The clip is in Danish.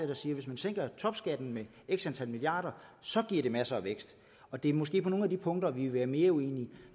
der siger at hvis man sænker topskatten med x antal milliarder så giver det masser af vækst og det er måske på nogle af de punkter vi vil være mere uenige